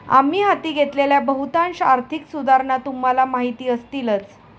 आम्ही हाती घेतलेल्या बहुतांश आर्थिक सुधारणा तुम्हाला माहिती असतीलच.